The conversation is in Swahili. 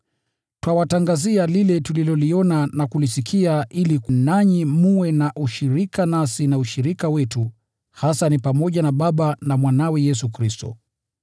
Twawatangazia lile tuliloliona na kulisikia, ili nanyi mwe na ushirika nasi. Na ushirika wetu hasa ni pamoja na Baba na Mwanawe, Yesu Kristo.